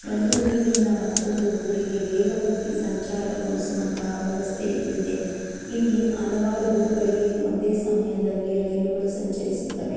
ಒಂದು ಊರಿನಿಂದ ಮತ್ತೊಂದು ಊರಿಗೆ ವೇಗವಾಗಿ ಸಂಚಾರ ಗೊಳಿಸುವ ವ್ಯವಸ್ಥೆ ಇಲ್ಲಿದೆ ಇಲ್ಲಿ ಹಲವಾರು ಊರುಗಳಿಗೆ ಒಂದೇ ಸಮಯದಲ್ಲಿ ರೈಲುಗಳು ಸಂಚರಿಸುತ್ತವೆ.